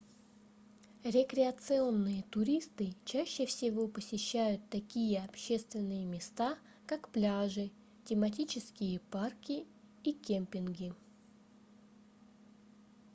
рекреационные туристы чаще всего посещают такие общественные места как пляжи тематические парки и кемпинги